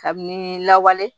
Kabini lawale